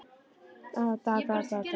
Allt er hljótt, hvíldu rótt.